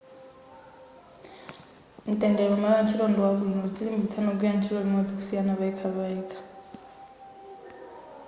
mtendere malo antchito ndi wabwino tidzilimbikitsa kugwira ntchito limodzi kusiyana payekhapayekha